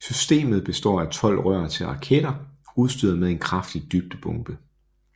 Systemet består af tolv rør til raketter udstyret med en kraftig dybdebombe